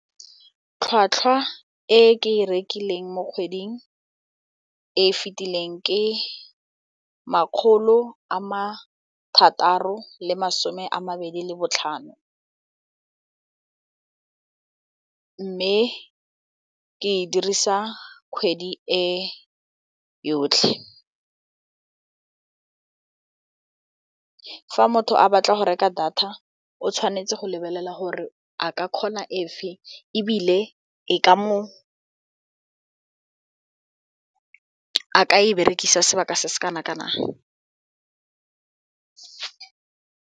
Tlhwatlhwa e ke e rekileng mo kgweding e fitileng ke makgolo a ma thataro le masome a mabedi le botlhano mme ke e dirisa kgwedi e yotlhe. Fa motho a batla go reka data o tshwanetse go lebelela gore a ka kgona efeng ebile a ka e berekisa sebaka se se kana kanang.